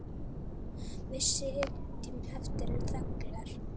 Við sitjum eftir þöglar.